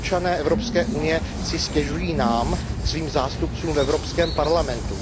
Občané Evropské unie si stěžují nám, svým zástupcům v Evropském parlamentu.